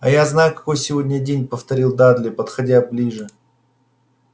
а я знаю какой сегодня день повторил дадли подходя ближе